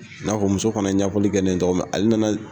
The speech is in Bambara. N'a fɔ muso fana ye ɲɛfɔli kɛ min ale nana